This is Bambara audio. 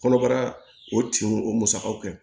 Kɔnɔbara o tinw o musakaw kɛ